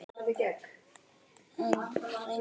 Dregur að sér.